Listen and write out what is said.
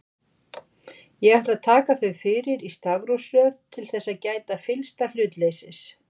Ég ætla að taka þau fyrir í stafrófsröð til þess að gæta fyllsta hlutleysis.